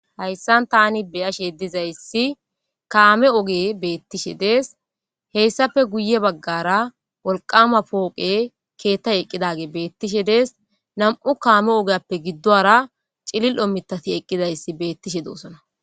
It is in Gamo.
Hayssan tani beyashe dizayssi kaame oge beettishe des heyssafe guye baggara wolqama pooqe keettay eqqidage beettishe dees nam'u kaame ogeappe giddoara cililo mitati eqqidayssi beettishe doosona.